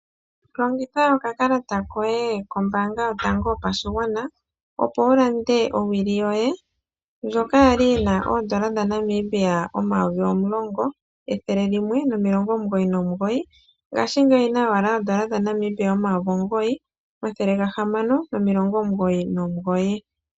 Longitha okakalata koye kombaanga yotango yopashigwana, opo wu lande owili yoye ndjoka ya li yi na N$10 199.00 ngashingeyi oyi na owala N$9 699.00.